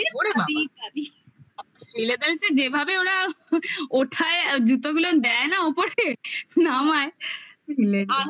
ওরে বাবা শ্রীলেদারসে যেভাবে ওরা ওঠায় জুতোগুলো দেয় না ওপরে নামায়